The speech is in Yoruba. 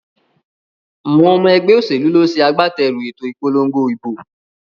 Àwon omo egbé òsèlú ló se agbáterù èto ìpolongo ìbò